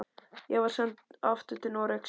Ég var send aftur til Noregs.